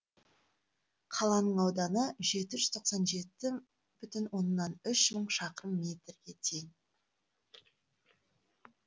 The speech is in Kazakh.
қаланың ауданы жеті жүз тоқсан жеті бүтін оннан үш мың шақырым метрге тең